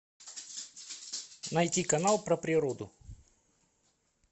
найти канал про природу